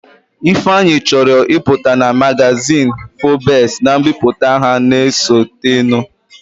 Ifeanyi chọrọ ịpụta na magazin Forbes na mbipụta ha na-esotenụ